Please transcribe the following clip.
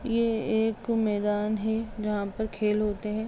ये एक मैदान है जहाँ पर खेल होते हैं।